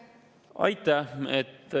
Aitäh!